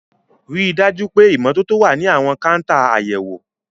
Rí i dájú pé ìmọ́tótó wà ní àwọn káńtà àyẹ̀wò.